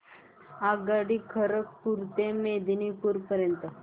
आगगाडी खरगपुर ते मेदिनीपुर पर्यंत